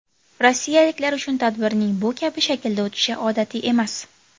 Rossiyaliklar uchun tadbirning bu kabi shaklda o‘tishi odatiy emas.